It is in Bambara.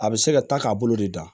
A bɛ se ka ta k'a bolo de da